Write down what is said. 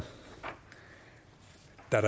her